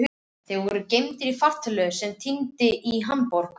Þeir voru geymdir í fartölvu sem hann týndi í Hamborg.